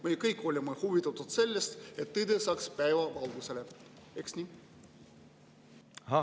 Me ju kõik oleme huvitatud sellest, et tõde saaks päevavalgele, eks ole nii?